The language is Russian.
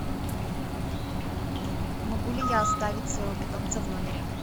могу ли я оставить своего питомца в номере